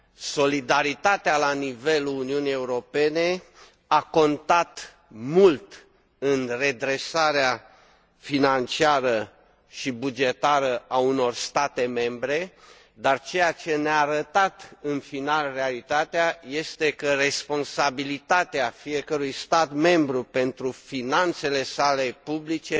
Solidaritatea la nivelul Uniunii Europene a contat mult în redresarea financiară și bugetară a unor state membre, dar ceea ce ne a arătat, în final, realitatea este că responsabilitatea fiecărui stat membru pentru finanțele sale publice